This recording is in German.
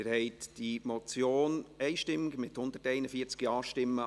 Sie haben die Ziffer 1 der Motion einstimmig angenommen, mit 141 Ja-Stimmen.